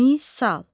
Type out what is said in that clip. Misal.